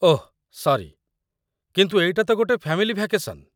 ଓଃ sorry, କିନ୍ତୁ ଏଇଟା ତ ଗୋଟେ ଫ୍ୟାମିଲି ଭ୍ୟାକେଶନ୍।